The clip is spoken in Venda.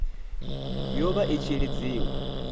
yo vha i tshi lidziwa